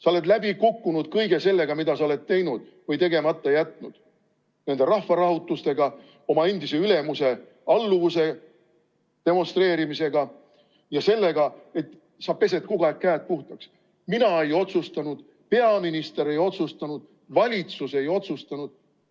Sa oled läbi kukkunud kõige sellega, mida sa oled teinud või tegemata jätnud, nende rahvarahutustega, oma endise ülemuse alluvuse demonstreerimisega ja sellega, et sa pesed kogu aeg käed puhtaks – sina ei otsustanud, peaminister ei otsustanud, valitsus ei otsustanud.